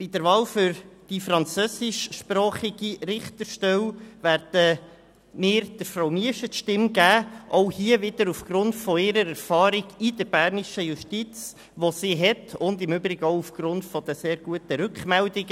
Bei der Wahl für die französischsprachige Richterstelle werden wir Frau Miescher die Stimme geben – wiederum aufgrund ihrer Erfahrung, über die sie in der bernischen Justiz verfügt, und im Übrigen auch aufgrund der sehr guten Rückmeldungen.